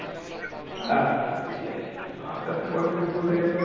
আস্তে আস্তে পরের দিন দুপুর হয়ে গিয়েছিল